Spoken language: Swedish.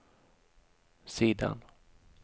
sidan